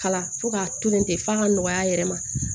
Kala fo k'a to yen ten f'a ka nɔgɔya a yɛrɛ ma